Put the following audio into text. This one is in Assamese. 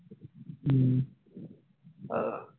উম আহ